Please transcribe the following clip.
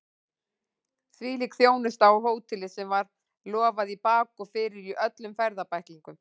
Hvílík þjónusta á hóteli sem var lofað í bak og fyrir í öllum ferðabæklingum!